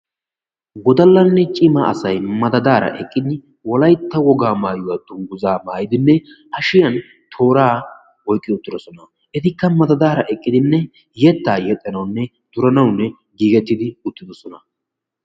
wodallane cima asati wolaytta woga maayuwa dunguzza mayidine hashshiyan toora oyqidi ziiriyan eqidi yetta yexxanawnne duranaw giigeti uttidossona.